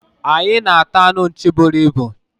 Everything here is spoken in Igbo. anyị na ata anụ nchi buru ibu